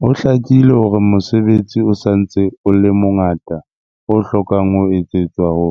Ho hlakile hore mosebetsi o sa ntse o le mongata o hlokang ho etsetswa ho